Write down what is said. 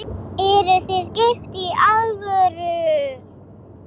Eruð þið gift í alvöru?